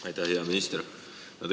Aitäh, hea minister!